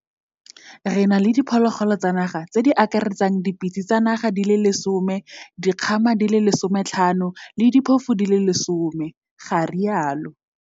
Re na le diphologolo tsa naga tse di akaretsang dipitse tsa naga di le 10, dikgama di le 15 le diphofu di le 10, ga rialo